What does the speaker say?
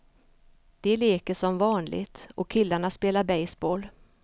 De leker som vanligt, och killarna spelar baseball.